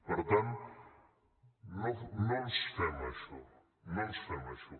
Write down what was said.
per tant no ens fem això no ens fem això